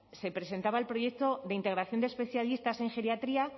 se presentaba el proyecto de integración de especialistas en geriatría